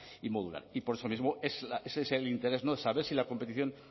y modular y por eso mismo ese es el interés de saber si la competición